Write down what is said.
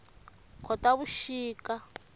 khotavuxika